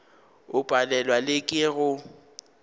o palelwa le ke go